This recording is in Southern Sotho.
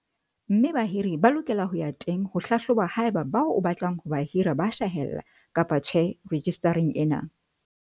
mme bahiri ba lokela ho ya teng ho hlahloba haeba bao o batlang ho ba hira ba hlahella kapa tjhe rejistareng ena.